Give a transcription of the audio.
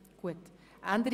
– Dies ist der Fall.